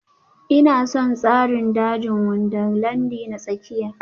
Ina son tsarin dajin Wundarlandi na tsakiya